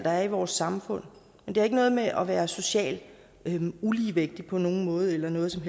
er i vores samfund men det har ikke noget med at være socialt ulige på nogen måde eller noget som